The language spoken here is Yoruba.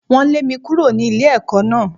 Wọ́n lé mi kúrò ní ilé ẹ̀kọ́ náà.